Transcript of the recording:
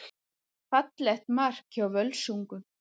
Fallegt mark hjá Völsungum.